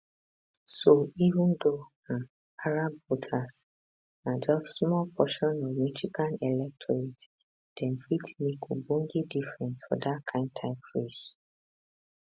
so even though um arab voters na just small portion of michigan electorate dem fit make ogbonge difference for dat kain type race